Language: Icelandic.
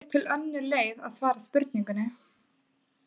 Þá er til önnur leið að svara spurningunni.